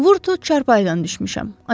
Vurttu, çarpayıdan düşmüşəm.